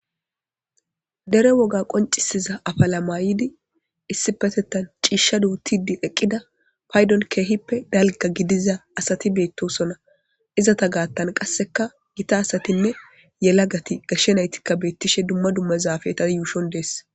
Dere woga qoncisiza apala mayidi isipetetan ciishsha duutidi eqqida paydon keehippe dalga gidiza asati beetosona; izeta gaatan qasseka gita asatinne yelagati gashe naytikka beetishe dumma dumma zafeeta yuushon de'es.